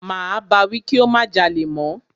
Máa bá wí kí ó má jalè mọ́.